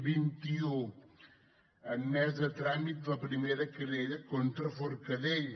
vinti u admesa a tràmit la primera querella contra forcadell